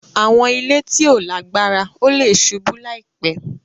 Awọn ile ti o lagbara; o le ṣubu laipe.